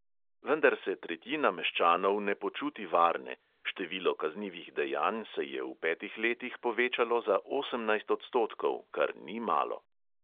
Vendar se tretjina meščanov ne počuti varne, število kaznivih dejanj se je v petih letih povečalo za osemnajst odstotkov, kar ni malo.